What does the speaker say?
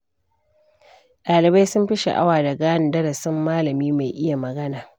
Ɗalibai sun fi sha'awa da gane darasin malami mai iya magana.